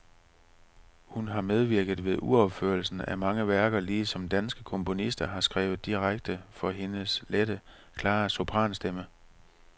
Hun har medvirket ved uropførelsen af mange værker, ligesom danske komponister har skrevet direkte for hendes lette, klare sopranstemme.